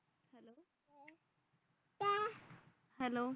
hello